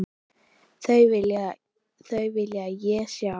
Þau vil ég sjá.